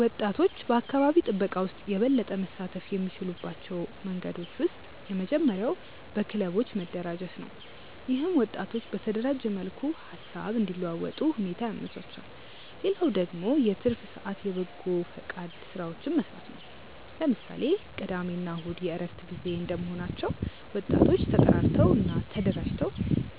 ወጣቶች በአካባቢ ጥበቃ ውስጥ የበለጠ መሳተፍ የሚችሉባቸው መንገዶች ውስጥ የመጀመሪያው በክለቦች መደራጀት ነው። ይህም ወጣቶች በተደራጀ መልኩ ሃሳብ እንዲለዋወጡ ሁኔታ ያመቻቻል። ሌላው ደግሞ የትርፍ ሰአት የበጎፈቃድ ስራዎችን መስራት ነው። ለምሳሌ ቅዳሜ እና እሁድ የእረፍት ጊዜ እንደመሆናቸው ወጣቶ ተጠራርተው እና ተደራጅተው